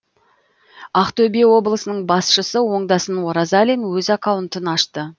ақтөбе облысының басшысы оңдасын оразалин өз аккаунтын ашты